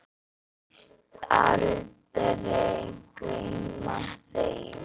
Kveðst aldrei gleyma þeim.